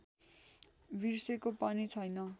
बिर्सेको पनि छैन